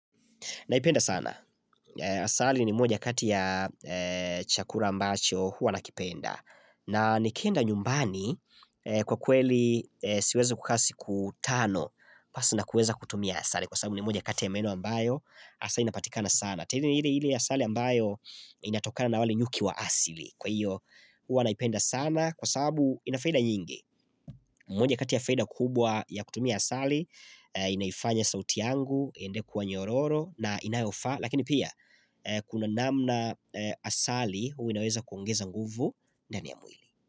Naipenda sana. Eh Asali ni moja kati ya eehh chakula ambacho huwa nakipenda. Hhh n na nikienda nyumbani eh kwa kweli eeh siwezo kukaa siku tano. Hhh Pasu nakuweza kutumia asali kwa sababu ni moja kati ya meno ambayo asali inapatikana sana. Te ile ile asali ambayo inatokana na wale nyuki wa asili. Kwa io huwa naipenda sana kwa saabu ina faida nyingi. Moja kati ya faida kubwa ya kutumia asali, inaifanya sauti yangu, iendelee kuwa nyororo na inayofaa, lakini pia hh ehh kuna namna eh asali hui inaweza kuongeza nguvu ndani ya amwili.